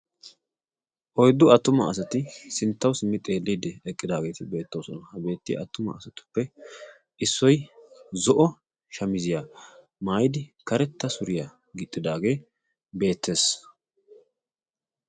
Oyddu attuma asati sinttawu simmi xeelliidi eqqidaageeti beettoosona. Ha beettiya attuma asatuppe issoi zo'o shamiziyaa maayidi karetta suriyaa gixxidaagee beettees.